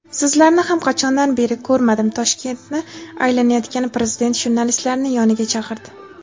"Sizlarni ham qachondan beri ko‘rmadim" – Toshkentni aylanayotgan prezident jurnalistlarni yoniga chaqirdi.